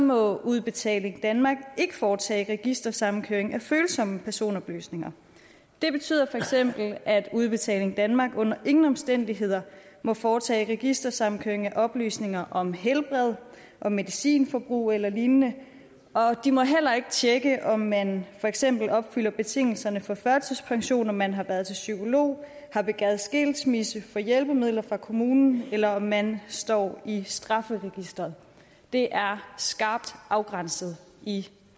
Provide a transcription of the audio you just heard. må udbetaling danmark ikke foretage registersammenkøring af følsomme personoplysninger det betyder feks at udbetaling danmark under ingen omstændigheder må foretage registersammenkøring af oplysninger om helbred og medicinforbrug eller lignende og de må heller ikke tjekke om man for eksempel opfylder betingelserne for førtidspension om man har været til psykolog har begæret skilsmisse får hjælpemidler fra kommunen eller om man står i strafferegisteret det er skarpt afgrænset i